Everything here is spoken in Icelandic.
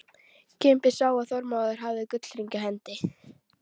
Kimbi sá að Þormóður hafði gullhring á hendi.